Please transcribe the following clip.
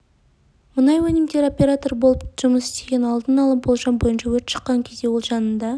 мұнай өнімдері оператор болып жұмыс істеген алдын ала болжам бойынша өрт шыққан кезде ол жанында